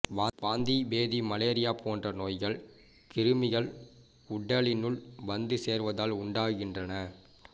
வாந்திபேதி malaria போன்ற நோய்கள் கிருமிகள் உடலினுள் வந்து சேர்வதால் உண்டாகின்றன